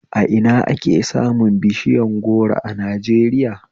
A ina ake samu bishiyar goro a Najeriya?